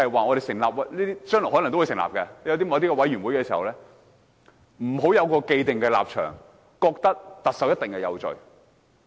我希望未來成立任何專責委員會時，議員不要有既定立場，覺得特首一定有罪。